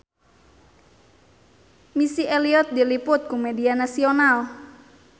Missy Elliott diliput ku media nasional